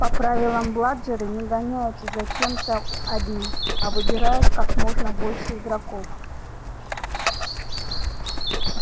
по правилам бладжеры не гоняются за кем-то одним а выбирают как можно больше игроков